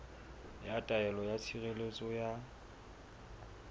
ya taelo ya tshireletso ya